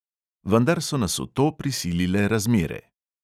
Vendar so nas v to prisilile razmere.